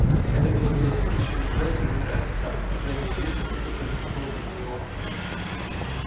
это было куда хуже чем лежать замирая от страха когда неизвестное только промелькнуло мимо него